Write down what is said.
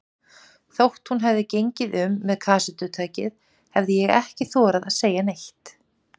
Þótt hún hefði gengið um með kassettutækið, hefði ég ekki þorað að segja neitt.